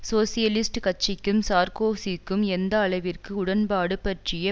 socialist கட்சிக்கும் சார்க்கோசிக்கும் எந்த அளவிற்கு உடன்பாடு பற்றிய